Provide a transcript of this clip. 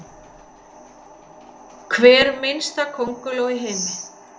Hver minnsta könguló í heimi?